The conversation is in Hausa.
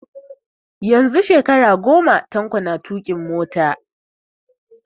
Yanzu shekara goma Tanko na tuƙin mota